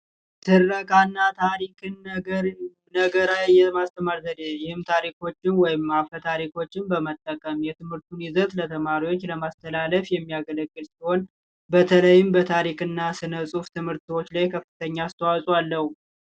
ትረካ እና ታሪክን የመንገር የማስተማር ዘዴ ታሪኮችን ወይም ደግሞ አፈ ታሪኮችን በመጠቀም የትምህርቱን ይዘት ለተማሪዎች ለማስተላለፍ የሚያገለግል ሲሆን በተለይም በታሪክ እና ስነ ጽሑፍ ትምህርቶች ላይ ከፍተኛ የሆነ አስተዋጽኦ አለው።